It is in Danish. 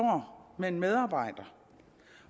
med en medarbejder